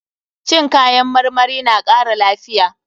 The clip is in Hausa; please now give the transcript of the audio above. Cin kayan marmari na kara lafiya.